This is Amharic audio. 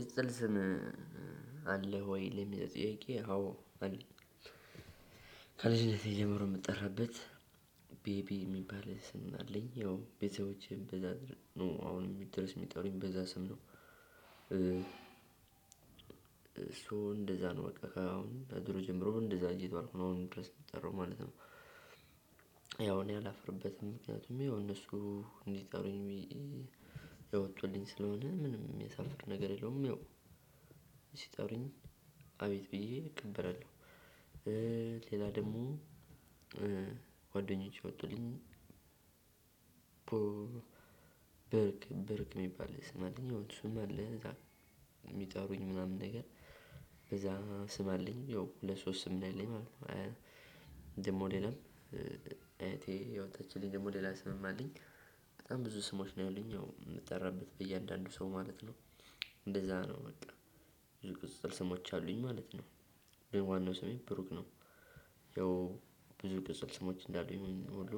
ቅጽል ስም አለህ ወይ ለሚለው ጥያቄ አዎ አለኝ። ከልጅነቴ ጀምሮ የምጠራበት ቤቢ የሚባል ስም አለኝ ያው ቤተሰቦቼ በዛ ነው አሁንም ድርስ ሚጠሩኝ በዛ ስም ነው። ሶ እንደዛ ነው በቃ አሁን በድሮ ጀምሮ እንደዛ እየተባልኩ ነው አሁን ድረስ የሚጠራው ማለት ነው። ያው እኔ አላፍርበትም ይኸው እነሱ እንዲጠሩኝ ያወጡልኝ ስለሆነ ምንም ሚያሳፍር ነገር የለውም። ያው ሲጠሩኝ አቤት ብዬ እቀበራለሁ። ሌላ ደግሞ ጓደኞቼ ወጡልኝ። ብርክ ብርክ የሚባል ስም አለኝ ያው እሱም አለ። እዛ የሚጠሩኝ ምናምን ነገር በዛ ስም አለኝ ያው ሁለት ሶስት ስም ነው ያለኝ ማለት ነው። ደግሞ ሌላም እህቴ ያወጣችልኝ ደግሞ ሌላ ስምም አለኝ። በጣም ብዙ ስሞች ነው ያሉኝ ያው የምጠራበት በእያንዳንዱ ሰው ማለት ነው። እንደዛ ነው በቃ ብዙ ቅጽል ስሞች አሉኝ ማለት ነው። ግን ዋናው ስሜ ብሩክ ነው። ያው ብዙ ቅጽል ስሞች እንዳሉኝ ሁሉ